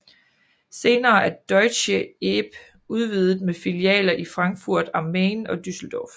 Senere er deutsche ebh udvidet med filialer i Frankfurt am Main og Düsseldorf